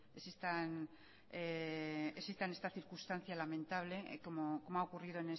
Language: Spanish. que existan circunstancia lamentable como ha ocurrido